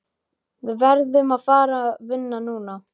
Við verðum að fara vinna núna.